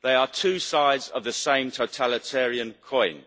They are two sides of the same totalitarian coin.